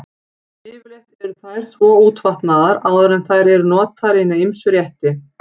Yfirleitt eru þær svo útvatnaðar áður en þær eru notaðar í hina ýmsu rétti.